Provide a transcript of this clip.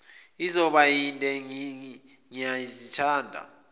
izoba yinde ngiyazithanda